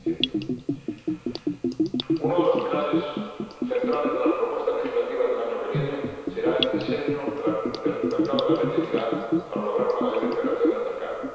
15 Uno de los pilares centrales de las propuestas legislativas del año que viene será el diseño del mercado de la electricidad para lograr una mayor integración del mercado.